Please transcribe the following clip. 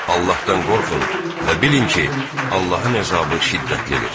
Allahdan qorxun və bilin ki, Allahın əzabı şiddətlidir.